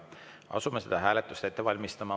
Asume seda hääletust ette valmistama.